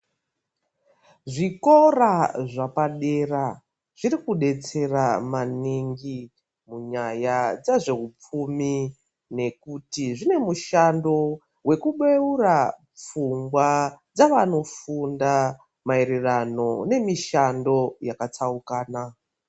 Zvikora zvepa dera zviri kubetsera maningi kunyaya dze zveupfumi nekuti zvine mushando weku beura pfungwa dzavano funda maererano nemishando yaka tsaukana.